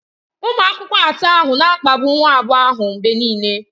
Ụmụ akwụkwọ atọ ahụ na-akpagbu nwa agbọghọ ahụ mgbe niile.